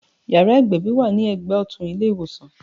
Yàrá ìgbẹ̀bì wà ní ẹgbẹ́ ọtun ní ilé ìwòsàn